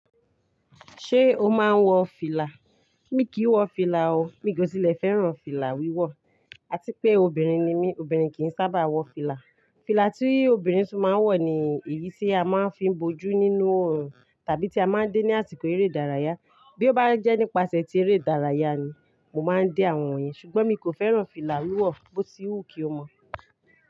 Ṣé o máa ń wọ fìlà? Mí kì í wọ fìlà o, mí jòtìlẹ̀ fẹ́ràn fìlà wíwọ̀. A ti pé obìnrin ni mí, obìnrin kì í sábà wọ fìlà. Fìlà tí obìnrin tun máa ń wọ̀ ni èyí tí a máa ń fi bójú nínú òòrùn tàbí tí a máa ń dé ní àsìkò eré ìdárayá. Bí ó bá jẹ́ nípasẹ̀ ti eré ìdárayá ni, mo máa ń dé àwọn èyí, ṣùgbọ́n mí kò fẹ́ràn fìlà wíwọ̀ bó ti wú ki o mọ̀